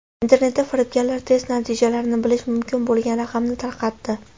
Internetda firibgarlar test natijalarini bilish mumkin bo‘lgan raqamni tarqatdi.